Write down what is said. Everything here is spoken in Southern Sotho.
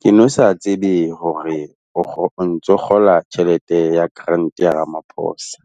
Ke no sa tsebe hore o ntso kgola tjhelete ya grant ya Ramaphosa.